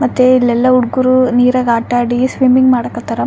ಮತ್ತೆ ಎಲ್ಲೆಲ್ಲ ಹುಡುಗ್ರು ನೀರಾಗ ಆಟ ಆಡಿ ಸ್ವಿಮಿಂಗ್ ಮಾಡಕತರ.